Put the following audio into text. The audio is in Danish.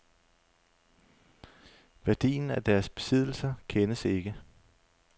Værdien af deres besiddelser kendes ikke.